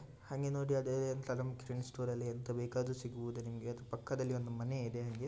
ಹಂಗೆ ನೋಡಿ ಸ್ಟೋರ್ ನಲಿ ಯಂತ್ ಬೇಕಾದ್ರು ಸಿಗಬಹುದು ಪಕ್ಕದಲಿ ಒಂದು ಮನೆ ಇದೆ.